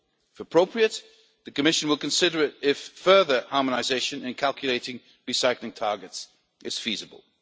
If appropriate, the Commission will consider if further harmonisation and calculating recycling targets is feasible.